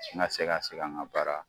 Na se ka segin an ka baara